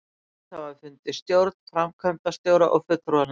hluthafafundi, stjórn, framkvæmdastjóra og fulltrúanefnd.